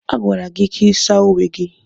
A gwara gị ka ị saa uwe gị!